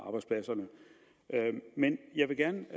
arbejdspladserne jeg vil gerne